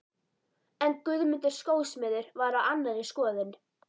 En Guðmundur skósmiður var á annarri skoðun.